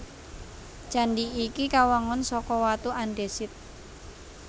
Candhi iki kawangun saka watu andhesit